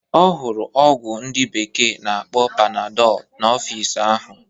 Ọ hụrụ ọgwụ ndị bekee na-akpọ Panadọl n'ọfịs ahụ.